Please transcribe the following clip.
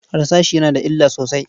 Harsashi yana da illa sosai.